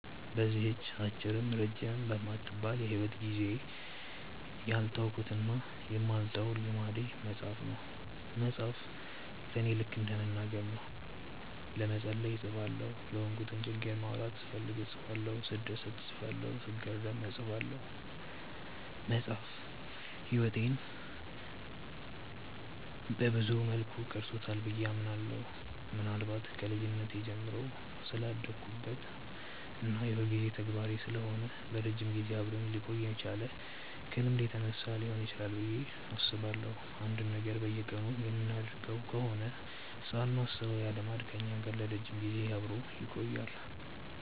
በዚህች አጭርም ረጅምም በማትባል የሂወት ጊዜዬ ያልተውኩትና የማልተወው ልምዴ መጻፍ ነው። መጻፍ ለኔ ልከ እንደ መናገር ነው። ለመጸለይ እጽፋለሁ፤ የሆንኩትን ችግር ማውራት ስፈልግ እጽፋለሁ፤ ስደሰት እጽፋለሁ፤ ስገረም እጽፋለሁ። መጻፍ ህይወቴን ሰብዙ መልኩ ቀርጾታል ብዬ አምናለሁ። ምናልባት ከልጅነቴ ጀምሮ ስላዳበርኩት እና የሁልጊዜ ተግባሬ ስለሆነ ለረጅም ጊዜ አብሮኝ ሊቆይ የቻለው ከልምድ የተነሳ ሊሆን ይችላል ብዬ አስባለሁ። አንድን ነገር በየቀኑ የምናደርገው ከሆነ ሳናስበው ያ ልማድ ከኛ ጋር ለረጅም ጊዜ አብሮን ይቆያል።